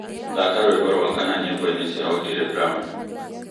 thaka nyīmbo rwa kana nyīmboinī cia otile brown